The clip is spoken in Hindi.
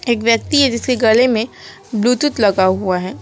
एक व्यक्ति है जिसके गले में ब्ल्यूटूथ लगा हुआ है।